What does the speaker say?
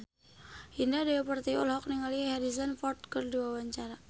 Indah Dewi Pertiwi olohok ningali Harrison Ford keur diwawancara